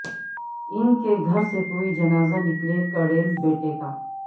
انکے گھر سے کوئی جنازہ نکلے کڑیل بیٹے کا